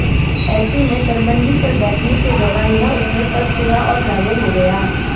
ऐसे में तरबंदी पर बैठने के दौरान यह उसमें फंस गया और घायल हो गया